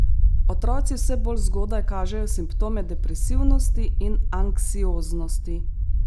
Otroci vse bolj zgodaj kažejo simptome depresivnosti in anksioznosti.